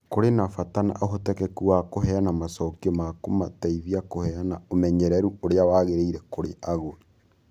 Kũrĩ na bata na ũhotekeku wa kũheana macokio ma kũmateithia kũheana ũmenyeru ũrĩa wagĩrĩire kũrĩ agũri.